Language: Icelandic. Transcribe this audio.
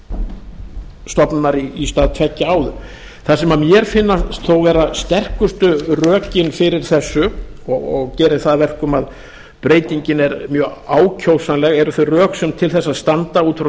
einnar stofnunar í stað tveggja áður það sem mér finnast þó vera sterkustu rökin fyrir þessu og gerir það að verkum að breytingin er mjög ákjósanleg eru þau rök sem til þess standa út af